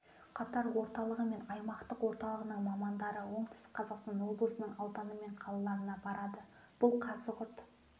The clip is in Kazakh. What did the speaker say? қатар орталығы мен аймақтық орталығының мамандары оңтүстік қазақстан облысының ауданы мен қалаларына барады бұл қазығұрт